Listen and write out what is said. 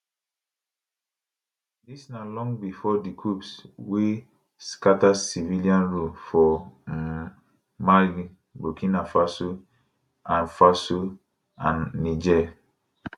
dis na long bifor di coups wey scata civilian rule for um mali burkina faso and faso and niger